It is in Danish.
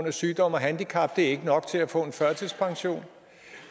og sygdom og handicap er ikke nok til at få en førtidspension